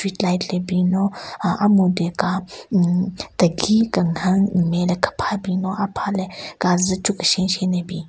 Street light le bin no aah a-mhyudyu ka hmm tegi kenhen nme le kepha bin lo a-pha le kazu cho keshen keshen ne bin.